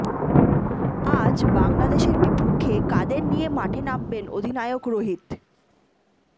আজ বাংলাদেশের বিপক্ষে কাদের নিয়ে মাঠে নামবেন অধিনায়ক রোহিত